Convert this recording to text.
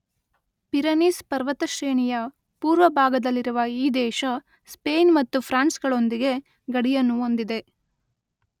Pyrenees ಪರ್ವತಶ್ರೇಣಿಯ ಪೂರ್ವ ಭಾಗದಲ್ಲಿರುವ ಈ ದೇಶ ಸ್ಪೇನ್ ಮತ್ತು ಫ್ರಾನ್ಸ್‌ಗಳೊಂದಿಗೆ ಗಡಿಯನ್ನು ಹೊಂದಿದೆ.